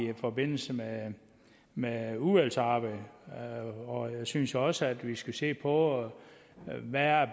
i forbindelse med udvalgsarbejdet og jeg synes også at vi skal se på hvad